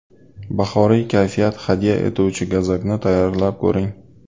Bahoriy kayfiyat hadya etuvchi gazakni tayyorlab ko‘ring.